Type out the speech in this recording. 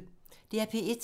DR P1